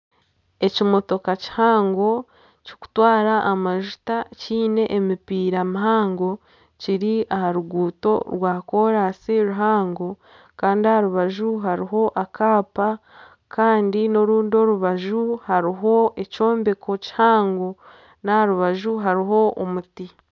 Ekimotoka kihango kirikutwara amajuta ky'emipira mihango kiri aha ruguuto rwakoorasi ruhango kandi aha rubaju hariho akaapa kandi n'orundi orubaju hariho ekyombeko kihango n'aha rubaju hariho omuti